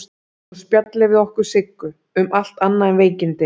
Og spjalla við okkur Siggu, um allt annað en veikindin.